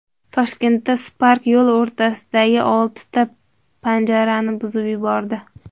Toshkentda Spark yo‘l o‘rtasidagi oltita panjarani buzib yubordi.